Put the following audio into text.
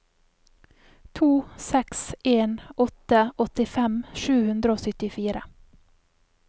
to seks en åtte åttifem sju hundre og syttifire